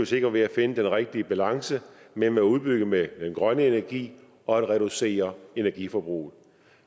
sikre ved at finde den rigtige balance mellem at udbygge med den grønne energi og reducere energiforbruget